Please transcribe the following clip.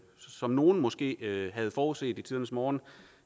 som nogle måske havde forudset i tidernes morgen